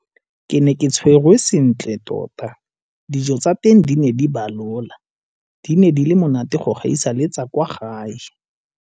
Ke ne ke tshwerwe sentle tota. Dijo tsa teng di ne di balola - di ne di le monate go gaisa le tsa kwa gae.